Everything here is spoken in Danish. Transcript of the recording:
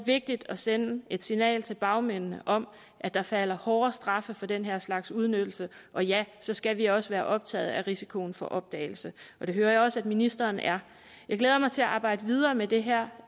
vigtigt at sende et signal til bagmændene om at der falder hårde straffe for den her slags udnyttelse og ja så skal vi også være optaget af risikoen for opdagelse det hører jeg også at ministeren er jeg glæder mig til at arbejde videre med det her